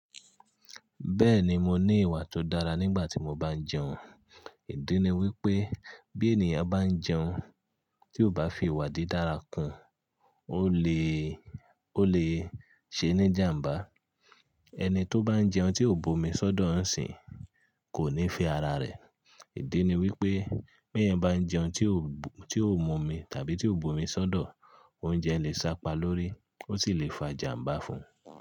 Bẹ́ẹ̀ni mo ní ìwà tó dára nígbà tí mo bá ń jẹun. Ìdí ni wípé bí ènìyàn bá ń jẹun tí ò bá fi ìwà didára kún, ó lè, ó lè ṣe ní jàmbá. Ẹni tó bá ń jẹun tí ò bomi sódò ń sìn kò ní fẹ́ ara rẹ̀. Ìdí ni wípé bí ẹ̀yan bá ń jẹun tí ò, tí ò momi tàbí tí ò bomi sódò, oúnjẹ lè sápa lórí, ó sì lè fa jàmbá fún.